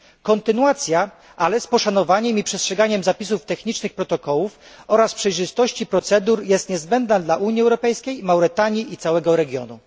Kontynuacja, ale z poszanowaniem i przestrzeganiem zapisów technicznych protokołów oraz przejrzystości procedur, jest niezbędna dla Unii Europejskiej, Mauretanii i całego regionu.